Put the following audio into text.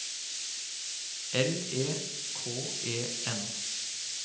L E K E N